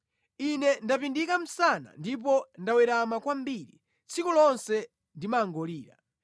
Ine ndapindika msana ndipo ndawerama kwambiri; tsiku lonse ndimangolira.